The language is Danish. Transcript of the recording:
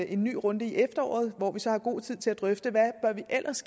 en ny runde i efteråret hvor vi så har god tid til at drøfte hvad vi ellers